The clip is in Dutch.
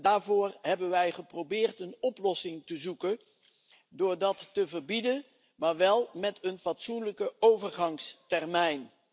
Daarvoor hebben wij geprobeerd een oplossing te zoeken door dat te verbieden, maar wel met een fatsoenlijke overgangstermijn.